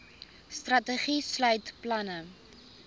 strategie sluit planne